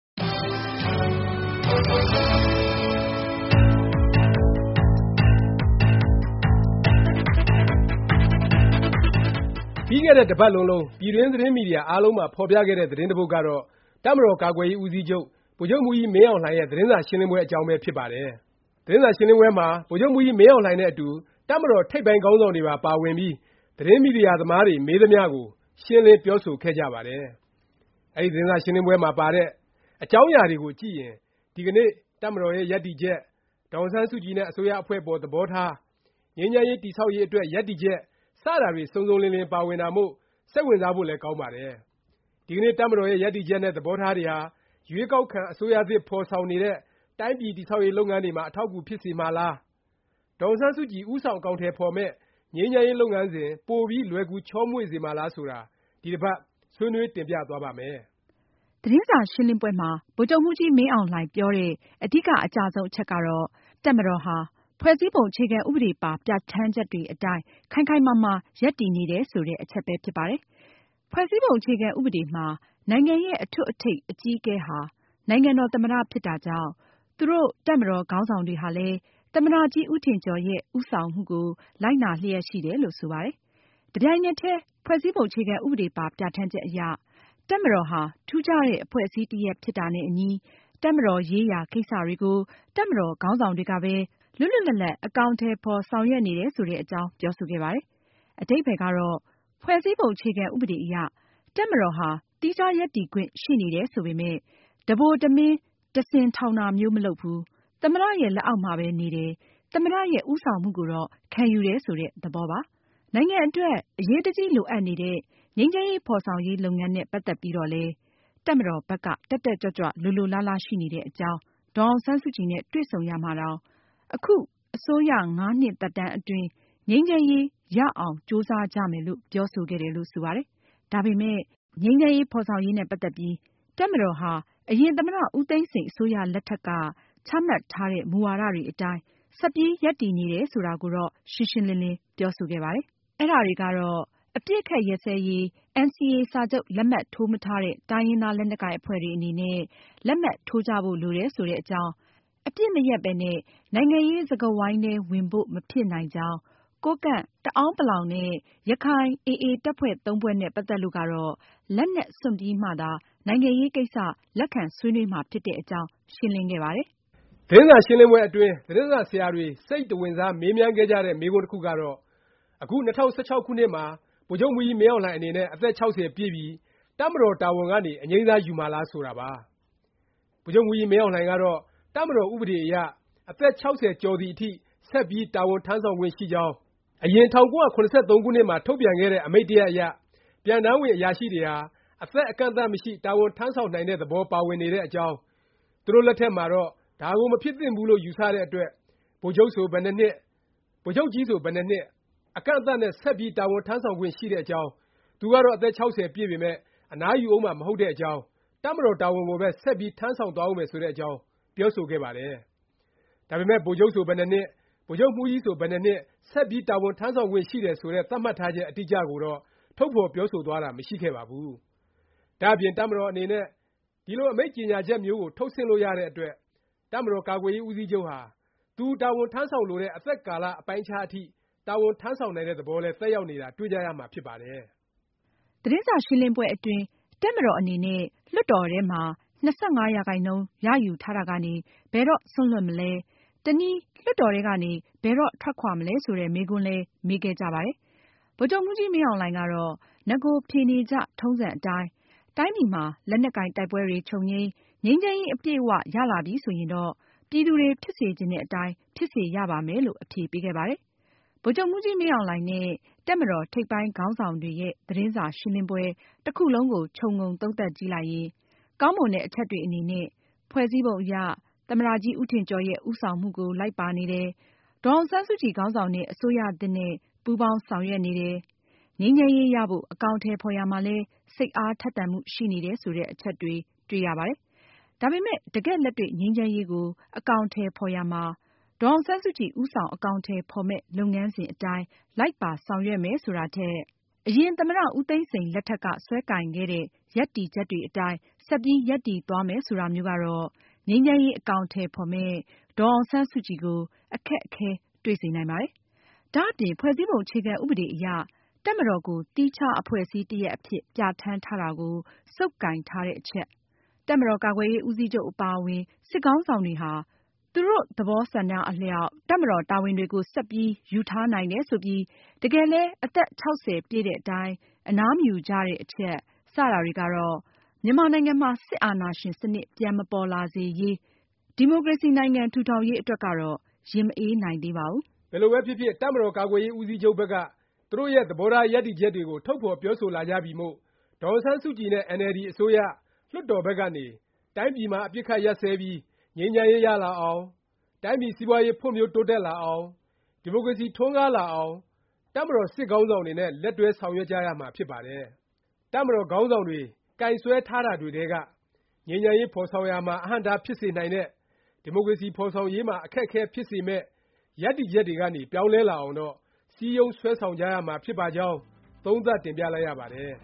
ပြီးခဲ့တဲ့ တစ်ပတ်လုံးလုံး ပြည်တွင်း သတင်းမီဒီယာ အားလုံးမှာ ဖော်ပြခဲ့တဲ့ သတင်းတစ်ပုဒ်ကတော့ တပ်မတော် ကာကွယ်ရေးဦးစီးချုပ် ဗိုလ်ချုပ်မှူးကြီး မင်းအောင်လှိုင်ရဲ့ သတင်းစာ ရှင်းလင်းပွဲ အကြောင်းပဲ ဖြစ်ပါတယ်။ သတင်းစာရှင်းပွဲမှာ ဗိုလ်ချုပ်မှူးကြီးမင်းအောင်လှိုင်နဲ့အတူ တပ်မတော် ထိပ်ပိုင်းခေါင်းဆောင်တွေပါ ပါဝင်ပြီး သတင်းမီဒီယာသမားတွေ မေးသမျှကို ရှင်းလင်း ပြောဆိုခဲ့ကြပါတယ်။ အဲဒီ သတင်းစာရှင်းလင်းပွဲမှာ ပါတဲ့ အကြောင်းအရာတွေကိုကြည့်ရင် ဒီကနေ့ တပ်မတော်ရဲ့ ရပ်တည်ချက်၊ ဒေါ်အောင်ဆန်းစုကြည်နဲ့ အစိုးရအဖွဲ့အပေါ် သဘောထား၊ ငြိမ်းချမ်းရေး တည်ဆောက်ရေး အတွက် ရပ်တည်ချက် စတာတွေ စုံစုံလင်လင် ပါဝင်တာမို့ စိတ်ဝင်စားဖို့လည်း ကောင်းပါတယ်။ ဒီကနေ့ တပ်မတော်ရဲ့ ရပ်တည်ချက်နဲ့ သဘောထားတွေဟာ ရွေးကောက်ခံ အစိုးရသစ် ဖော်ဆောင်နေတဲ့ တိုင်းပြည် တည်ဆောက်ရေး လုပ်ငန်းတွေမှာ အထောက်အကူ ဖြစ်စေမှာလား၊ ဒေါ်အောင်ဆန်းစုကြည် ဦးဆောင် အကောင်အထည် ဖော်မယ့် ငြိမ်းချမ်းရေး လုပ်ငန်းစဉ် ပိုပြီး လွယ်ကူချောမွေ့စေမှာလား ဆိုတာ ဒီတစ်ပတ် ဆွေးနွေး တင်ပြသွားပါ့မယ်။ သတင်းစာရှင်းလင်းပွဲမှာ ဗိုလ်ချုပ်မှူးကြီးမင်းအောင်လှိုင် ပြောတဲ့ အဓိက အကျဆုံး အချက်ကတော့ တပ်မတော်ဟာ ဖွဲ့စည်းပုံ အခြေခံဥပဒေပါ ပြဌာန်းချက်တွေအတိုင်း ခိုင်ခိုင်မာမာ ရပ်တည်နေတယ် ဆိုတဲ့ အချက်ပဲ ဖြစ်ပါတယ်။ ဖွဲ့စည်းပုံ အခြေခံဥပဒေမှာ နိုင်ငံရဲ့ အထွဋ်အထိပ် အကြီးအကဲဟာ နိုင်ငံတော်သမ္မတ ဖြစ်တာကြောင့် သူတို့ တပ်မတော်ခေါင်းဆောင်တွေဟာလည်း သမ္မတကြီး ဦးထင်ကျော်ရဲ့ ဦးဆောင်မှုကို လိုက်နာလျက်ရှိတယ်လို့ ဆိုပါတယ်။ တစ်ပြိုင်နက်တည်း ဖွဲ့စည်းပုံ အခြေခံဥပဒေပါ ပြဌာန်းချက်အရ တပ်မတော်ဟာ ထူးခြားတဲ့ အဖွဲ့အစည်း တပ်ရပ် ဖြစ်တာနဲ့အညီ တပ်မတော်ရေးရာ ကိစ္စတွေကို တပ်မတော်ခေါင်းဆောင်တွေကပဲ လွတ်လွတ်လပ်လပ် အကောင်အထည်ဖော် ဆောင်ရွက်နေတယ် ဆိုတဲ့အကြောင်း ပြောဆိုခဲ့ပါတယ်။ အဓိပ္ပါယ်ကတော့ ဖွဲ့စည်းပုံ အခြေခံဥပဒေအရ တပ်မတော်ဟာ သီးခြား ရပ်တည်ခွင့်ရှိနေတယ် ဆိုပေမယ့် တစ်ဗိုလ်တစ်မင်း တစ်စင်ထောင်တာမျိုး မလုပ်ဘူး၊ သမ္မတရဲ့ လက်အောက်မှာပဲ နေတယ်၊ သမ္မတရဲ့ ဦးဆောင်မှုကိုတော့ ခံယူတယ် ဆိုတဲ့ သဘောပါ။ နိုင်ငံအတွက် အရေးတကြီး လိုအပ်နေတဲ့ ငြိမ်းချမ်းရေး ဖော်ဆောင်ရေး လုပ်ငန်းနဲ့ ပတ်သက်ပြီးတော့လည်း တပ်မတော်ဘက်က တက်တက်ကြွကြွ လိုလိုလားလား ရှိနေတဲ့အကြောင်း၊ ဒေါ်အောင်ဆန်းစုကြည်နဲ့ တွေ့ဆုံရာမှာတောင် အခု အစိုးရ ၅ နှစ်သက်တမ်းအတွင်း ငြိမ်းချမ်းရေး ရအောင်ကြိုးစားကြမယ်လို့ ပြောဆိုခဲ့တယ်လို့ ဆိုပါတယ်။ ဒါပေမယ့် ငြိမ်းချမ်းရေး ဖော်ဆောင်ရေးနဲ့ ပတ်သက်ပြီး တပ်မတော်ဟာ အရင် သမ္မတ ဦးသိန်းစိန် အစိုးရလက်ထက်က ချမှတ်ထားတဲ့ မူဝါဒတွေအတိုင်း ဆက်ပြီး ရပ်တည်နေတယ် ဆိုတာကိုတော့ ရှင်းရှင်းလင်းလင်း ပြောဆိုခဲ့ပါတယ်။ အဲဒါတွေကတော့ အပစ်အခတ် ရပ်စဲရေး NCA စာချုပ် လက်မှတ် ထိုးမထားတဲ့ တိုင်းရင်းသား လက်နက်ကိုင်အဖွဲ့တွေ အနေနဲ့ လက်မှတ်ထိုးကြဖို့ လိုတယ် ဆိုတဲ့အကြောင်း၊ အပစ်မရပ်ပဲနဲ့ နိုင်ငံရေးစကားဝိုင်းထဲ ဝင်ဖို့ မဖြစ်နိုင်ကြောင်း၊ ကိုးကန့်၊ တအာန်း ပလောင်နဲ့ ရခိုင်AA တပ်ဖွဲ့သုံးဖွဲ့ နဲ့ ပတ်သက်လို့ကတော့ လက်နက်စွန့်ပြီးမှသာ နိုင်ငံရေးကိစ္စ လက်ခံဆွေးနွေးမှာ ဖြစ်တဲ့အကြောင်း ရှင်းလင်းခဲ့ကြပါတယ်။ သတင်းစာရှင်းလင်းပွဲအတွင်း သတင်းစာဆရာတွေ စိတ်တဝင်စား မေးမြန်းခဲ့ကြတဲ့ မေးခွန်းတစ်ခုကတော့ အခု ၂၀၁၆ ခုနှစ်မှာ ဗိုလ်ချုပ်မှူးကြီးမင်းအောင်လှိုင် အနေနဲ့ အသက် ၆၀ ပြည့်ပြီ၊ တပ်မတော် တာဝန်ကနေ အငြိမ်းစား ယူမှာလား ဆိုတာပါ။ ဗိုလ်ချုပ်မှူးကြီး မင်းအောင်လှိုင်ကတော့ တပ်မတော် ဥပဒေအရ အသက် ၆၀ ကျော်သည်အထိ ဆက်ပြီး တာဝန်ထမ်းဆောင်ခွင့် ရှိကြောင်း၊ အရင် ၁၉၇၃ ခုနှစ်မှာ ထုတ်ပြန်ခဲ့တဲ့ အမိန့်တစ်ရပ်အရ ပြန်တမ်းဝင် အရာရှိတွေဟာ အသက်အကန့်အသတ် မရှိ တာဝန်ထမ်းဆောင်နိုင်တဲ့ သဘော ပါဝင်နေတဲ့အကြောင်း၊ သူတို့လက်ထက်မှာတော့ ဒါကို မဖြစ်သင့်ဘူးလို့ ယူဆတဲ့အတွက် ဗိုလ်ချုပ်ဆို ဘယ်နှစ်နှစ်၊ ဗိုလ်ချုပ်ကြီးဆို ဘယ်နှစ်နှစ် အကန့်အသတ်နဲ့ ဆက်ပြီး တာဝန်ထမ်းဆောင်ခွင့် ရှိတဲ့အကြောင်း၊ သူကတော့ အသက် ၆၀ ပြည့်ပေမယ့် အနားယူဦးမှာ မဟုတ်တဲ့အကြောင်း၊ တပ်မတော် တာဝန်ကိုပဲ ဆက်ပြီး ထမ်းဆောင်သွားဦးမယ် ဆိုတဲ့အကြောင်း ပြောဆိုခဲ့ပါတယ်။ ဒါပေမယ့် ဗိုလ်ချုပ်ဆို ဘယ်နှစ်နှစ်၊ ဗိုလ်ချုပ်မှူးကြီးဆို ဘယ်နှစ်နှစ် ဆက်ပြီး တာဝန်ထမ်းဆောင်ခွင့် ရှိတယ်ဆိုတဲ့ သတ်မှတ်ထားချက် အတိအကျကိုတော့ ထုတ်ဖော်ပြောဆိုသွားတာ မရှိခဲ့ပါဘူး။ ဒါ့အပြင် တပ်မတော်အနေနဲ့ ဒီလို အမိန့်ကြေငြာချက်မျိုးကို ထုတ်ဆင့်လို့ရတဲ့အတွက် တပ်မတော်ကာကွယ်ရေး ဦးစီးချုပ်ဟာ သူ တာဝန်ထမ်းဆောင်လိုတဲ့ အသက်ကာလ အပိုင်းအခြား အထိ တာဝန်ထမ်းဆောင်နိုင်တဲ့ သဘောလည်း သက်ရောက်နေတာ တွေ့ကြရမှာ ဖြစ်ပါတယ်။ သတင်းစာရှင်းလင်းပွဲအတွင်း တပ်မတော်အနေနဲ့ လွှတ်တော်ထဲမှာ ၂၅ ရာခိုင်နှုန်း ရယူထားတာကနေ ဘယ်တော့ စွန့်လွှတ်မလဲ၊ တနည်း လွှတ်တော်ထဲကနေ ဘယ်တော့ ထွက်ခွာမလဲ ဆိုတဲ့ မေးခွန်းလည်း မေးခဲ့ကြပါတယ်။ ဗိုလ်ချုပ်မှူးကြီးမင်းအောင်လှိုင်ကတော့ နဂို ဖြေနေကြ ထုံးစံအတိုင်း တိုင်းပြည်မှာ လက်နက်ကိုင် တိုက်ပွဲတွေ ချုပ်ငြိမ်း၊ ငြိမ်းချမ်းရေး အပြည့်အ၀ ရလာပြီဆိုရင်တော့ ပြည်သူတွေ ဖြစ်စေချင်တဲ့အတိုင်း ဖြစ်စေရပါမယ်လို့ အဖြေပေးခဲ့ပါတယ်။ ဗိုလ်ချုပ်မှူးကြီးမင်းအောင်လှိုင်နဲ့ တပ်မတော် ထိပ်ပိုင်းခေါင်းဆောင်တွေရဲ့ သတင်းစာရှင်းလင်းပွဲ တစ်ခုလုံးကို ခြုံငုံသုံးသပ်ကြည့်လိုက်ရင် ကောင်းမွန်တဲ့ အချက်တွေ အနေနဲ့ ဖွဲ့စည်းပုံအရ သမ္မတကြီးဦးထင်ကျော်ရဲ့ ဦးဆောင်မှုကို လိုက်ပါနေတယ်၊ ဒေါ်အောင်ဆန်းစုကြည် ခေါင်းဆောင်တဲ့ အစိုးရသစ်နဲ့ ပူးပေါင်းဆောင်ရွက်နေတယ်၊ ငြိမ်းချမ်းရေး ရဖို့ အကောင်အထည် ဖော်ရာမှာလည်း စိတ်အားထက်သန်မှု ရှိနေတယ် ဆိုတဲ့ အချက်တွေ တွေ့ရပါတယ်။ ဒါပေမယ့် တကယ့်လက်တွေ့ ငြိမ်းချမ်းရေးကို အကောင်အထည် ဖော်ရာမှာ ဒေါ်အောင်ဆန်းစုကြည် ဦးဆောင် အကောင်အထည် ဖော်မယ့် လုပ်ငန်းစဉ် အတိုင်း လိုက်ပါဆောင်ရွက်မယ် ဆိုတာထက် အရင် သမ္မတ ဦးသိန်းစိန် လက်ထက်က စွဲကိုင်ခဲ့တဲ့ ရပ်တည်ချက်တွေအတိုင်း ဆက်ပြီး ရပ်တည်သွားမယ် ဆိုတာမျိုးကတော့ ငြိမ်းချမ်းရေး အကောင်အထည် ဖော်မယ့် ဒေါ်အောင်ဆန်းစုကြည်ကို အခက်အခဲ တွေ့စေနိုင်ပါတယ်။ ဒါ့အပြင် ဖွဲ့စည်းပုံ အခြေခံဥပဒေအရ တပ်မတော်ကို သီးခြား အဖွဲ့အစည်းတစ်ရပ်အဖြစ် ပြဌာန်းထားတာကို ဆုပ်ကိုင်ထားတဲ့အချက်၊ တပ်မတော် ကာကွယ်ရေး ဦးစီးချုပ် အပါအဝင် စစ်ခေါင်းဆောင်တွေဟာ သူတို့ သဘောဆန္ဒအလျောက် တပ်မတော် တာဝန်တွေကို ဆက်ပြီး ယူထားနိုင်တယ် ဆိုပြီး တကယ်လည်း အသက် ၆၀ ပြည့်တဲ့တိုင် အနားမယူကြတဲ့ အချက် စတာတွေကတော့ မြန်မာနိုင်ငံမှာ စစ်အာဏာရှင် စနစ် ပြန် ပေါ်မလာစေရေး၊ ဒီမိုကရေစီ နိုင်ငံ ထူထောင်ရေး အတွက်ကတော့ ရင်မအေးနိုင်သေးပါဘူး။ ဘယ်လိုပဲဖြစ်ဖြစ် တပ်မတော်ကာကွယ်ရေး ဦးစီးချုပ်ဘက်က သူတို့ရဲ့ သဘောထားရပ်တည်ချက်တွေကို ထုတ်ဖော်ပြောဆိုလာကြပြီမို့၊ ဒေါ်အောင်ဆန်းစုကြည်နဲ့ အင်န်အယ်လ်ဒီ အစိုးရ၊ လွှတ်တော် ဘက်ကနေ တိုင်းပြည်မှာ အပစ်အခတ် ရပ်စဲပြီး ငြိမ်းချမ်းရေး ရလာအောင်၊ တိုင်းပြည် စီးပွားရေး ဖွံ့ဖြိုးတိုးတက်လာအောင်၊ ဒီမိုကရေစီ ထွန်းကားလာအောင် တပ်မတော် စစ်ခေါင်းဆောင်တွေနဲ့ လက်တွဲဆောင်ရွက်ကြရမှာ ဖြစ်ပါတယ်။ တပ်မတော် ခေါင်းဆောင်တွေ ကိုင်စွဲထားတာတွေထဲက ငြိမ်းချမ်းရေး ဖော်ဆောင်ရာမှာ အဟန့်အတား ဖြစ်စေနိုင်တဲ့၊ ဒီမိုကရေစီ ဖော်ဆောင်ရေးမှာ အခက်အခဲဖြစ်စေမယ့် ရပ်တည်ချက်တွေကနေ ပြောင်းလဲလာအောင်တော့ စည်းရုံး ဆွဲဆောင်ကြရမှာ ဖြစ်ပါကြောင်း သုံးသပ်တင်ပြလိုက်ရပါတယ်